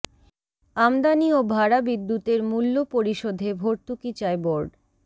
আমদানি ও ভাড়া বিদ্যুতের মূল্য পরিশোধে ভর্তুকি চায় বোর্ড